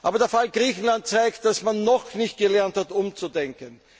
Aber der Fall Griechenland zeigt, dass man noch nicht gelernt hat umzudenken.